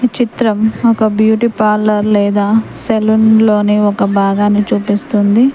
ఈ చిత్రం ఒక బ్యూటీ పార్లర్ లేదా సెలూన్ లోని ఒక భాగాన్ని చూపిస్తుంది.